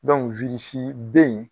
Dɔnku wirisi bɛ yen